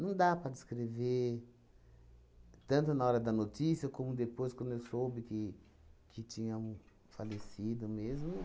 dá para descrever tanto na hora da notícia como depois, quando eu soube que que tinha falecido mesmo.